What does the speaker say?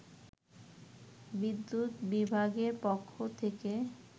বিদ্যুৎ বিভাগের পক্ষ থেকে